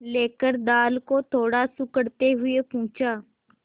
लेकर दाल को थोड़ा सुड़कते हुए पूछा